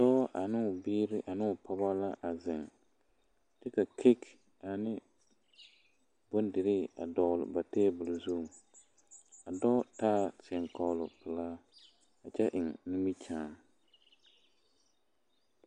dɔɔ ane o biiri ane o pɔge la a zeŋ kyɛ ka kage ane bondirii a dɔgle ba teebol zu a dɔɔ taaɛ teɛŋkɔɔroŋpelaa kyɛ eŋ nimikyaane